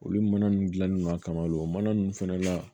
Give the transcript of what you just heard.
Olu mana ninnu dilannen don a kamalen o mana ninnu fana la